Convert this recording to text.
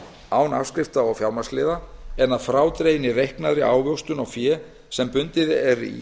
án afskrifta og fjármagnsliða en að frádreginni reiknaðri ávöxtun á fé sem bundið er í